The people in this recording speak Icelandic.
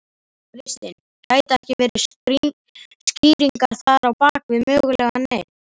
Kristinn: Gæti ekki verið skýringar þar á bakvið mögulega neyð?